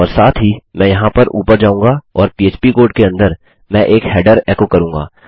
और साथ ही मैं यहाँ ऊपर जाऊँगा और पह्प कोड के अंदर मैं एक हेडर एको करूँगा